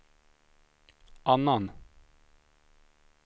annan